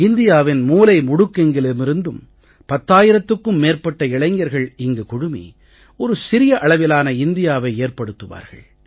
இந்தியாவின் மூலை முடுக்கெங்கிலுமிருந்தும் பத்தாயிரத்துக்கும் மேற்பட்ட இளைஞர்கள் இங்கு குழுமி ஒரு சிறிய அளவிலான இந்தியாவை ஏற்படுத்துவார்கள்